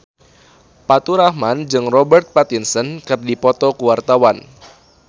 Faturrahman jeung Robert Pattinson keur dipoto ku wartawan